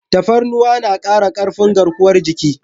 Tafarnuwa na kara karfin garkuwar jiki.